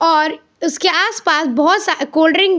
और उसके आसपास बहुत सा कोल्ड ड्रिंक --